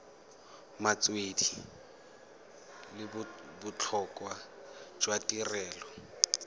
metswedi le botlhokwa jwa tirelo